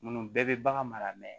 Munnu bɛɛ bɛ bagan mara